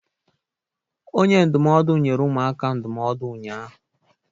Onye ndụmọdụ nyere ụmụaka ndụmọdụ ụnyahụ.